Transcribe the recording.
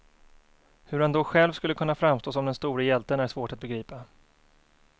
Hur han då själv skulle kunna framstå som den store hjälten är svårt att begripa.